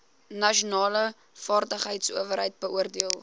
nasionale vaardigheidsowerheid beoordeel